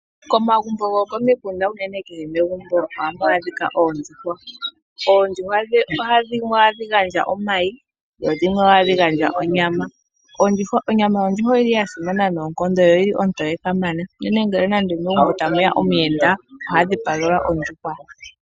Komagumbo gokomiti kehe megumbo ohamu adhika oondjuhwa. Oondjuhwa dhimwe ohadhi gandja omayi dho dhimwe ohadhi gandja onyama. Onyama yondjuhwa oyili yasimana noonkondo yo oyili ontoye kamana unene ngele megumbo tamu ya omuyenda oha dhipagelwa ondjuhwa.